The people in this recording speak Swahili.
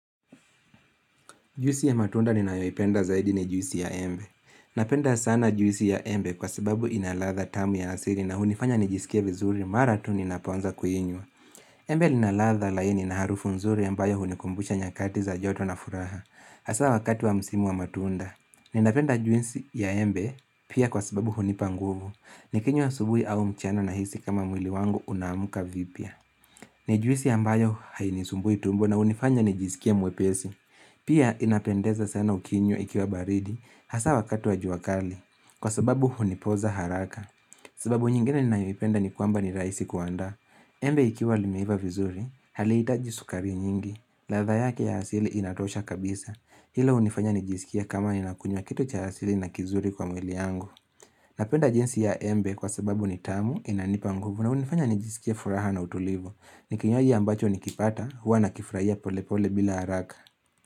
Juisi ya matunda ninawipenda zaidi ni juisi ya embe. Napenda sana juisi ya embe kwa sababu inalatha tamu ya asiri na hunifanya nijisikia vizuri maratuni naponza kuinywa. Embe linalatha laini na harufu nzuri ambayo hunikumbusha nyakati za joto na furaha. Asa wakati wa msimu wa matunda, ninapenda juisi ya embe pia kwa sababu hunipa nguvu. Nikinyo wa subuhi au mchano na hisi kama mwili wangu unamuka vipia. Ni juisi ambayo hainisumbui tumbo na hunifanya nijisikia mwepesi. Pia inapendeza sana ukinyo ikiwa baridi hasa wakatu wa juakali kwa sababu hunipoza haraka sababu nyingine ni naimipenda ni kwamba ni raisi kuanda Embe ikiwa limeiva vizuri, haliitaji sukari nyingi latha yake ya hasili inatosha kabisa Hilo unifanya nijisikia kama inakunywa kitu cha hasili na kizuri kwa mweli yangu Napenda jinsi ya embe kwa sababu nitamu inanipa nguvu na unifanya nijisikia furaha na utulivo Nikinywaji ambacho nikipata hua nakifraia pole pole bila haraka.